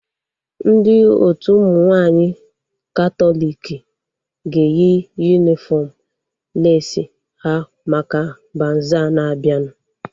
Ndị otu ụmụ nwaanyị katọliki ga-eyi yunifọm leesi ha maka bazaa na-abianu